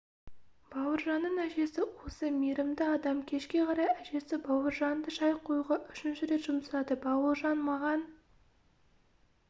бауыржанның әжесі осы мейірімді адам кешке қарай әжесі бауыржанды шай қоюға үшінші рет жұмсады бауыржан маған